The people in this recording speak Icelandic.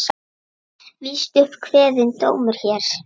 Víst upp kveðinn dómur hér.